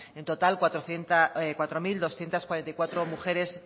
en total cuatro mil doscientos cuarenta y cuatro mujeres